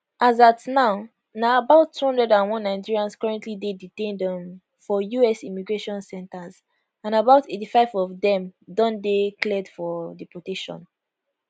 as at now na about 201 nigerians currently dey detained um for us immigration centres and about 85 of dem don dey cleared for deportation